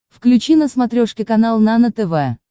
включи на смотрешке канал нано тв